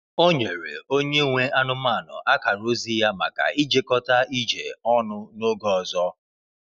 Ọ nyere onye nwe anụmanụ akara ozi ya maka ijekọta ije ọnụ n’oge ọzọ.